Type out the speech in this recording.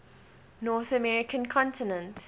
north american continent